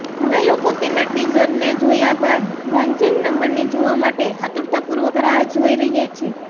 હવે લોકો તેના ટીઝરને જોયા બાદ ડાન્સિંગ નંબરને જોવા માટે આતુરતાપૂર્વક રાહ જોઈ રહ્યા છે